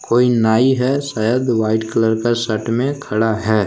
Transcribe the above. कोई नाई है शायद वाइट कलर का शर्ट मे खडा है।